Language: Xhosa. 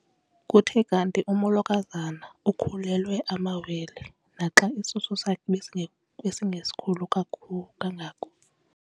Kuthe kanti umolokazana ukhulelwe amawele naxa isisu sakhe besinge besingesikhulu kangako.